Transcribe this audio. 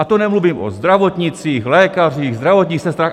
A to nemluvím o zdravotnících, lékařích, zdravotních sestrách...